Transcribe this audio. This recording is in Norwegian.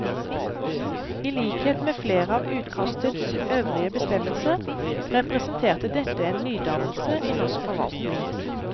I likhet med flere av utkastets øvrige bestemmelser, representerte dette en nydannelse i norsk forvaltning.